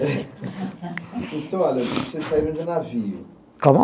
Então, olha, vocês saíram de navio. Como?